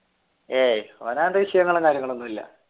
ഏയ് ഓൻ അത് വിഷയമുള്ള